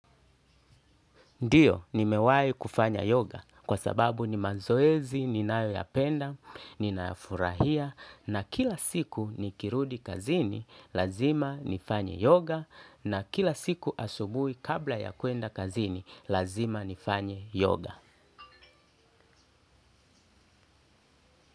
Ndiyo, ni mewai kufanya yoga kwa sababu ni mazoezi, ni nayo yapenda, ninayafurahia na kila siku ni kirudi kazini, lazima nifanye yoga na kila siku asubui kabla ya kuenda kazini, lazima nifanye yoga.